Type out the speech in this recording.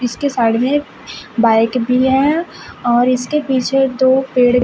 इसके साइड में बाइक भी है और इसके पीछे दो पेड़--